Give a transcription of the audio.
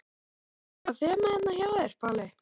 Og er eitthvað þema hérna hjá þér, Palli?